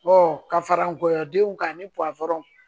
ka fara nkɔyɔdenw kan ani